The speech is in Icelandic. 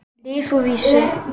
Lyf að vísu.